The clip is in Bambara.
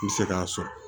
N bɛ se k'a sɔrɔ